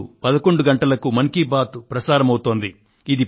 ఇప్పుడు 11 గంటలకు మన్ కీ బాత్ మనసులో మాట ప్రసారమవుతోంది